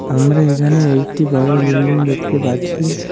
আমরা এখানে একটি বড় বিল্ডিং দেখতে পাচ্ছি।